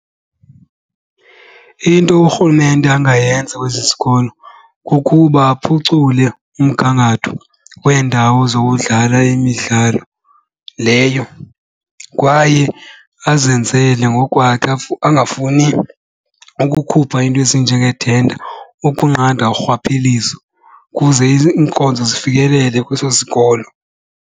Into urhulumente angayenza kwezi zikolo kukuba aphucule umgangatho weendawo zokudlala imidlalo leyo kwaye azenzele ngokukwakhe angafuni ukukhupha iinto ezinjengeethenda ukunqanda urhwaphilizo ukuze iinkonzo zifikelele kweso sikolo.